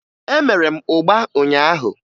Emere m ụgba ụnyaahụ